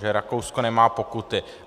Že Rakousko nemá pokuty.